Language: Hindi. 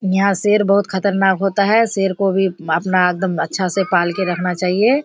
यहाँ शेर बहोत खतरनाक होता है शेर को भी अपना एकदम अच्छा से पाल के रखना चाहिए।